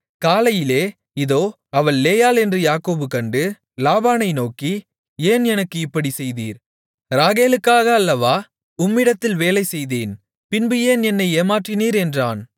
காலையிலே இதோ அவள் லேயாள் என்று யாக்கோபு கண்டு லாபானை நோக்கி ஏன் எனக்கு இப்படிச் செய்தீர் ராகேலுக்காக அல்லவா உம்மிடத்தில் வேலைசெய்தேன் பின்பு ஏன் என்னை ஏமாற்றினீர் என்றான்